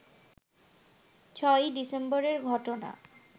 ৬ই ডিসেম্বরের ঘটনা